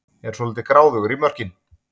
Er svolítið gráðugur í mörkin